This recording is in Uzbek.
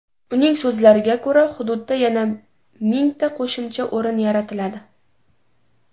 Uning so‘zlariga ko‘ra, hududda yana mingta qo‘shimcha o‘rin yaratiladi.